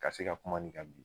Ka se ka kuma nin kan bi